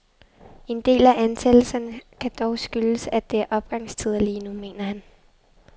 En del af ansættelserne kan dog skyldes, at det er opgangstider lige nu, mener han.